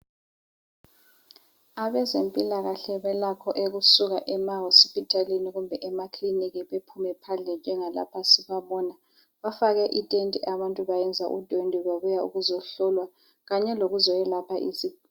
Abazempilakahle balakho ukusuka ema hospitalini kumbe klininiki. Bephume phandle njengalapha sibabona. Bafake itende. Abantu bayenze udwedwe babuya ukuzohlolwa, Kanye lokuzokwelapha izi